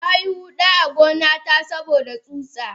Nayi huda a gona ta saboda tsutsa.